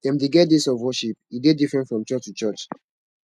dem de get days of worship e de diferent from church to church